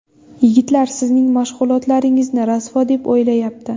Yigitlar sizning mashg‘ulotlaringizni rasvo deb o‘ylayapti’.